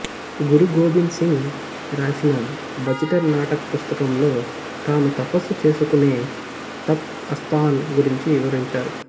గురు గోబింద్ సింగ్ రాసిన బచిటర్ నాటక్ పుస్తకంలో తాను తపస్సు చేసుకునే తప్ అస్థాన్ గురించి వివరించారు